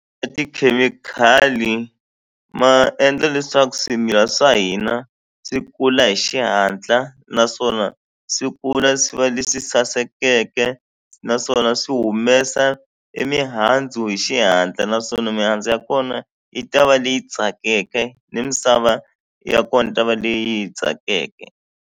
tikhemikhali ma endla leswaku swimila swa hina swi kula hi xihatla naswona swi kula swi va leswi sasekeke naswona swi humesa i mihandzu hi xihatla naswona mihandzu ya kona yi ta va leyi tsakeke ni misava ya kona yi ta va leyi tsakeke.